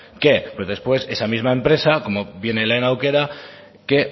qué pues después esa misma empresa como viene lehen aukera que